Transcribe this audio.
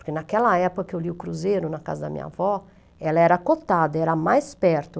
Porque naquela época que eu li o Cruzeiro, na casa da minha avó, ela era cotada, era a mais perto.